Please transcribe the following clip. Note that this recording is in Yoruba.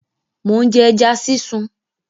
Mò ń jẹ ẹja sísun.